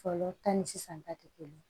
Fɔlɔ ta ni sisan ta tɛ kelen ye